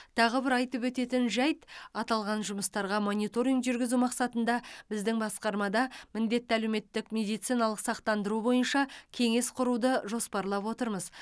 тағы бір айтып өтетін жайт аталған жұмыстарға мониторинг жүргізу мақсатында біздің басқармада міндетті әлеуметтік медициналық сақтандыру бойынша кеңес құруды жоспарлап отырмыз